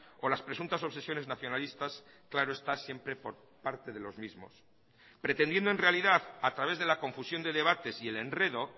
o las presuntas obsesiones nacionalistas claro está siempre por parte de los mismos pretendiendo en realidad a través de la confusión de debates y el enredo